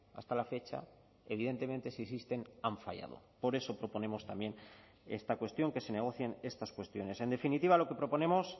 hasta la fecha evidentemente si existen han fallado por eso proponemos también esta cuestión que se negocien estas cuestiones en definitiva lo que proponemos